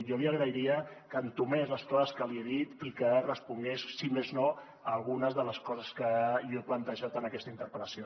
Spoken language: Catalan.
jo li agrairia que entomés les coses que li he dit i que respongués si més no a algunes de les coses que jo he plantejat en aquesta interpel·lació